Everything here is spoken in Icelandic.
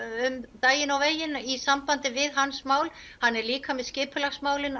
um daginn og veginn í sambandi við hans mál hann er líka með skipulagsmálin